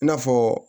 I n'a fɔ